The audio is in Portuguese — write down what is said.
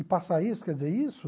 E passar isso, quer dizer, isso...